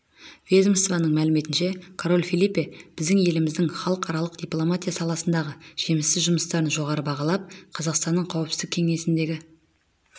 ведомствоның мәліметінше король фелипе біздің еліміздің халықаралық дипломатия саласындағы жемісті жұмыстарын жоғары бағалап қазақстанның қауіпсіздік кеңесіндегі